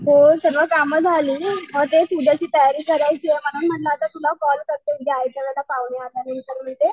हो सगळ काम झाली अअ तेच उद्याची तयारी करायचीए म्हणून म्हणलं आता तुला कॉल करते